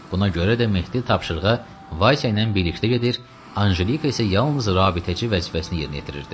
Buna görə də Mehdi tapşırığa Vays ilə birlikdə gedir, Anjelika isə yalnız rabitəçi vəzifəsini yerinə yetirirdi.